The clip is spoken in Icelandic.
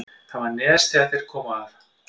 Þar var nes er þeir komu að.